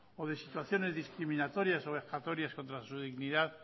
o de situaciones discriminatorias o vejatorias contra su dignidad